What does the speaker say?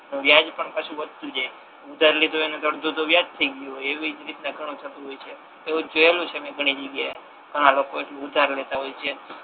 વ્યાજ પણ પાછુ વધતુ જ જાય ઉધાર લીધો એને અડધુ તો વ્યાજ થાય ગયુ હોય એવી જ રીતના ઘણુ થતુ હોય છે એવુ તો જોયેલુ છે મે ઘણી જગ્યા એ આ લોકો જોડે થી ઉધાર લેતા હોય છે